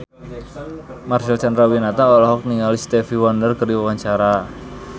Marcel Chandrawinata olohok ningali Stevie Wonder keur diwawancara